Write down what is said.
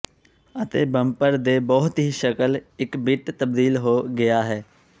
ਅਤੇ ਬੰਪਰ ਦੇ ਬਹੁਤ ਹੀ ਸ਼ਕਲ ਇੱਕ ਬਿੱਟ ਤਬਦੀਲ ਹੋ ਗਿਆ ਹੈ